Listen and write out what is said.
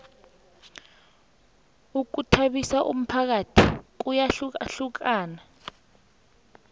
ukhuthabisa umphakathi kuyahlukahlukana